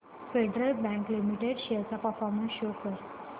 federal Bank Limited shares चा performance show कर